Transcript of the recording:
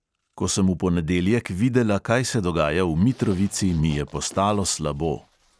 Ko sem v ponedeljek videla, kaj se dogaja v mitrovici, mi je postalo slabo.